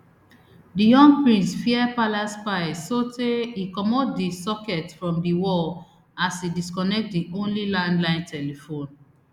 di young prince fear palace spies sotay e comot di socket from di wall as e disconnect di only landline telephone